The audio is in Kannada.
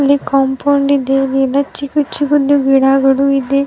ಇಲ್ಲಿ ಕಾಂಪೌಂಡ್ ಇದೆ ಇಲ್ಲಿ ಎಲ್ಲ ಚಿಕ್ಕ ಚಿಕ್ಕದು ಗಿಡಗಳು ಇದೆ .